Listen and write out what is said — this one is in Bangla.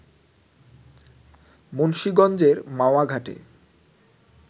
মুন্সীগঞ্জের মাওয়া ঘাটে